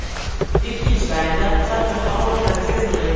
Ikkinchi taymda charchoq alomatlari sezildi.